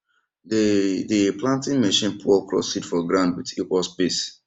dey dey planting machine put okra seed for ground with equal space